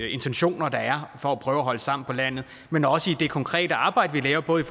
intentioner der er for at prøve at holde sammen på landet men også i det konkrete arbejde vi lægger både i